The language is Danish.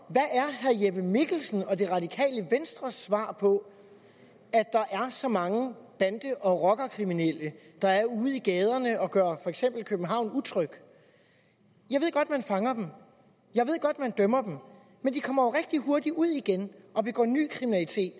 jeppe mikkelsen og det radikale venstres svar på at der er så mange bande og rockerkriminelle ude i gaderne som gør for eksempel københavn utryg jeg ved godt at man fanger dem jeg ved godt at man dømmer dem men de kommer jo rigtig hurtigt ud igen og begår ny kriminalitet